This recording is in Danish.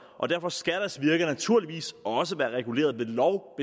og derfor skal deres virke naturligvis også være reguleret ved lov